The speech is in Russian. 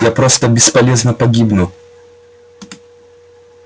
я просто бесполезно погибну